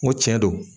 N ko tiɲɛ don